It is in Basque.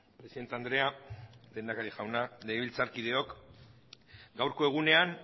presidente andrea lehendakari jauna legebiltzarkideok gaurko egunean